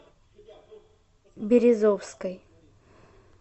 березовской